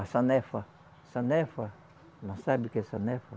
A sanefa, sanefa, não sabe o que é sanefa?